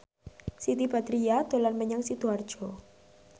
Siti Badriah dolan menyang Sidoarjo